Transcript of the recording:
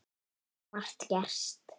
Margt gerst.